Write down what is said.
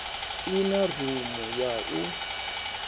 i na rumu ya u